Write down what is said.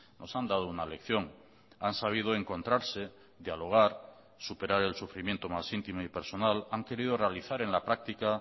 nos han dado una lección han sabido encontrarse dialogar superar el sufrimiento más íntimo y personal han querido realizar en la práctica